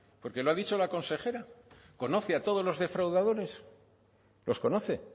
porque lo ha dicho la consejera conoce a todos los defraudadores los conoce